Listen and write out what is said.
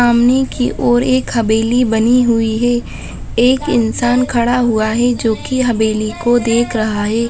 सामने की ओर एक हवेली बनी हुई है एक इंसान खड़ा हुआ है जोकि हवेली को देख रहा है।